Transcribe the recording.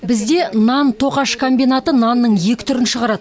бізде нан тоқаш комбинаты нанның екі түрін шығарады